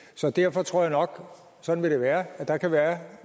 så derfor tror jeg nok sådan vil det være at der kan være